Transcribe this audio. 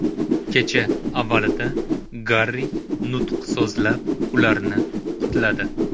Kecha avvalida Garri nutq so‘zlab, ularni qutladi.